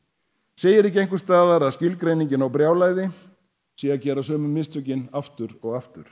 segir ekki einhvers staðar að skilgreiningin á brjálæði sé að gera sömu mistökin aftur og aftur